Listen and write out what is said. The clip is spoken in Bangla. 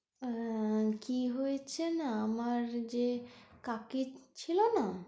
হ্যাঁ কি হয়েছে না আমার যে কাকি ছিলনা?